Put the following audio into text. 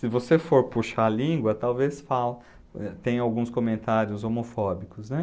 Se você for puxar a língua, talvez falem, tem alguns comentários homofóbicos, né?